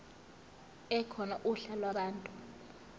ekhona uhla lwabantu